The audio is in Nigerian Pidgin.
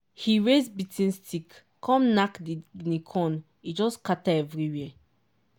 he raise beating stick come knack di guinea corn e just scatter everywhere.